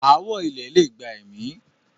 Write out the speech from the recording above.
ááwọ̀ ilẹ̀ lè gba ẹ̀mí.